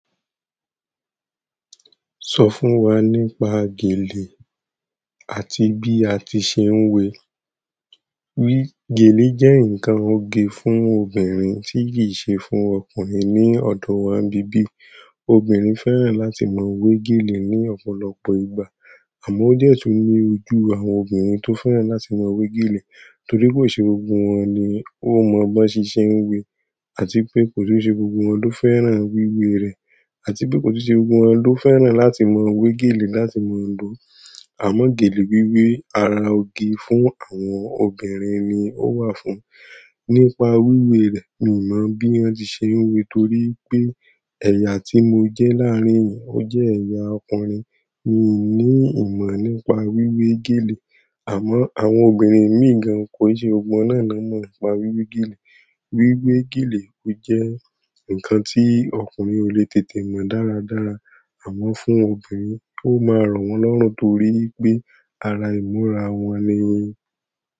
Sọ fún wa nípa gèlè àti bí a ti ṣe ń wé wi. Gèlè jẹ́ ǹkan oge fún obìnrin tí kì í ṣe fún ọkùnrin ní ọ̀dọ̀ wa ni bibi. Obìnrin fẹ́ràn láti mọ wé gèlè ní ọ̀pọ̀lọpọ̀ ìgbà. Àmọ́ ó jẹ́ tó ní ojú àwọn obìnrin tó fẹ́ràn láti maa wé gèlè torí kò ṣe gbogbo wọn ni ó mọ bọ́n ṣe se ń wé àti pé kò tun ṣe gbogbo wọn ló fẹ́ràn wíwé rẹ̀ àti pé kò tun ṣe gbogbo wọn ló fẹ́ràn láti maa wé gèlè láti mọ lò. Amo gele wiwe, ara oge fún àwọn obìnrin ni o wa fún nípa wíwe rẹ̀, mi i mọ bí wọ́n ti ṣe ń wé torí pé ẹ̀yà tí mo jẹ́ láàrín ìyẹn ó jẹ́ ẹ̀yà ọkùnrin. Mi ò ní ìmọ̀ nípa wíwé gèlè. Àmọ́ àwọn obìnrin imii gàn kò n ṣe gbogbo wọn náà no mọ̀ nípa wíwé gèlè. Wiwe gele o je nkan ti ọkùnrin o le tètè mo dáradára. Àmọ́ fún obìnrin, ó máa rọ̀ wọ́n lọ́rùn torí pé àrà ìmúra wọn nì.